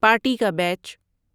party کا بیچ